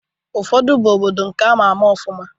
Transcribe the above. Ụfọdụ bụ obodo nke ama ama ọfụma.